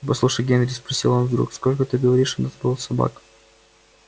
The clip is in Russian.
послушай генри спросил он вдруг сколько ты говоришь у нас было собак